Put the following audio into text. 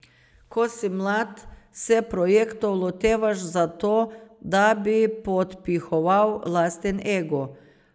Ko si mlad, se projektov lotevaš zato, da bi podpihoval lasten ego.